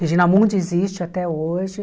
Regina Mundi existe até hoje.